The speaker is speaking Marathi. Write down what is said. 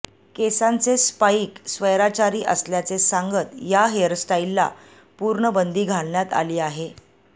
केसांचे स्पाइक स्वैराचारी असल्याचे सांगत या हेअरस्टाइलला पूर्ण बंदी घालण्यात आली आहे